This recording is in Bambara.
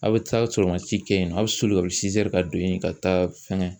A' bɛ taa sɔrɔ mansi kɛ yen nɔ a bɛ soli ka ka don yen ka taa fɛngɛ